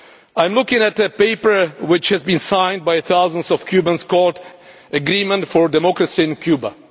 I am looking at a paper which has been signed by thousands of Cubans, called the Agreement for Democracy in Cuba.